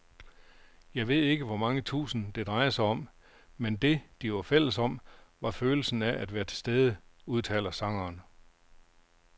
Jeg ved ikke hvor mange tusind, det drejede sig om, men det, de var fælles om, var følelsen af at være tilstede, udtaler sangeren.